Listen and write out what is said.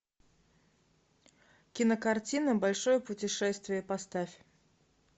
кинокартина большое путешествие поставь